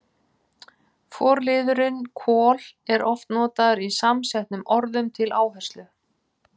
Forliðurinn kol- er oft notaður í samsettum orðum til áherslu.